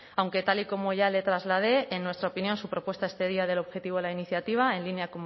aunque tal y como ya le trasladé en nuestra opinión su propuesta excedía del objetivo a la iniciativa en línea